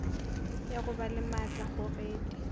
ya go ba le maatlakgogedi